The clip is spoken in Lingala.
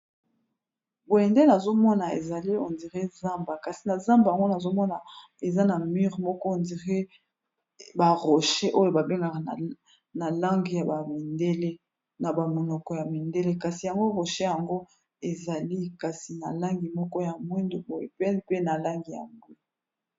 boyendele azomona ezali ondire zamba kasi na zamba yango nazomona eza na mure moko ondire barocher oyo babengaka na lange ya bamindele na bamonoko ya mindele kasi yango rosher yango ezali kasi na langi moko ya mwindo boyepene pe na langi ya ngwu